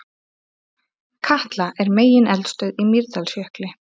Katla er megineldstöð í Mýrdalsjökli.